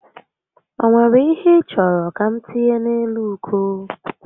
O were ihe ị chọrọ ka m tinye n'elu uko?